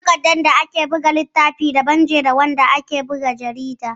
Takardar da ake buga littafi da ita daban da wacce ake buga jarida